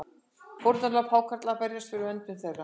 Fórnarlömb hákarla berjast fyrir verndun þeirra